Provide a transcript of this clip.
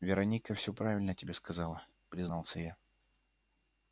вероника всё правильно тебе сказала признался я